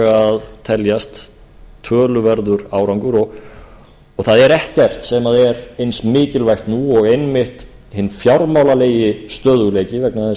að teljast töluverður árangur og það er ekkert sem er eins mikilvægt nú og einmitt hinn fjármálalegi stöðugleiki vegna þess